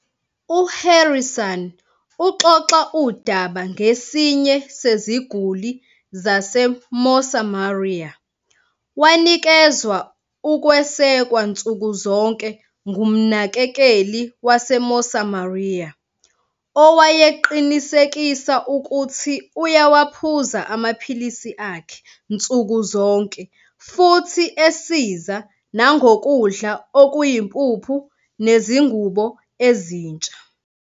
U-Harrison uxoxa udaba ngesinye seziguli zase-Mosamaria. Wanikezwa ukwesekwa nsuku zonke ngumnakekeli wase-Mosamaria, owayeqinisekisa ukuthi uyawaphuza amaphilisi akhe nsuku zonke futhi esiza nangokudla okuyimpuphu nezingubo ezintsha.